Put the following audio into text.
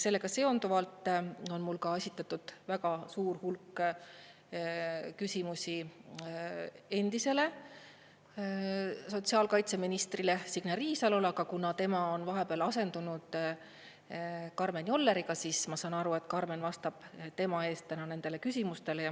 Sellega seonduvalt on mul esitatud väga suur hulk küsimusi endisele sotsiaalkaitseministrile Signe Riisalole, aga kuna tema on vahepeal asendunud Karmen Jolleriga, siis ma saan aru, et Karmen vastab tema eest täna nendele küsimustele.